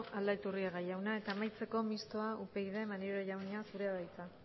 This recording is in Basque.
aldaiturriaga jauna amaitzeko mistoa upyd maneiro jauna zurea da hitza